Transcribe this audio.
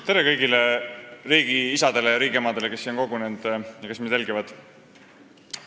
Tere, kõik riigiisad ja riigiemad, kes on siia kogunenud ja kes meid jälgivad!